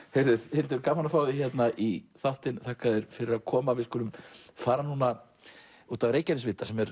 Hildur gaman að fá þig í þáttinn þakka þér fyrir að koma við skulum fara út að Reykjanesvita sem er